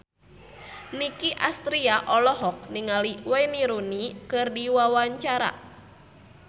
Nicky Astria olohok ningali Wayne Rooney keur diwawancara